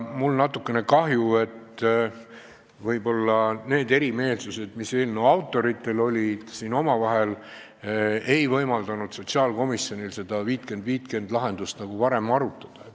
Mul on natukene kahju, et võib-olla need lahkarvamused, mis eelnõu autoritel omavahel olid, ei võimaldanud sotsiaalkomisjonil seda 50 : 50 skeemi varem arutada.